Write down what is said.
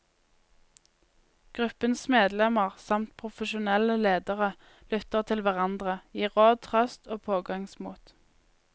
Gruppens medlemmer, samt profesjonelle ledere, lytter til hverandre, gir råd, trøst og pågangsmot.